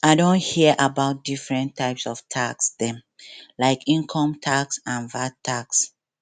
i don hear about different types of tax dem like income tax and vat tax